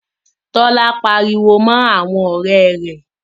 Tola pariwo mọ àwọn ọrẹ́ rẹ̀.